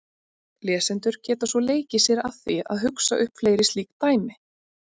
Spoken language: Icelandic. Lesendur geta svo leikið sér að því að hugsa upp fleiri slík dæmi.